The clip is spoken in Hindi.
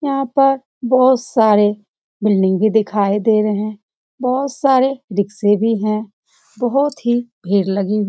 यहाँ पर बहुत सारे बिल्डिंग भी दिखाई दे रही हैं बहुत सारे रिक्क्षे भी हैं बहुत ही भीड़ लगी हैं।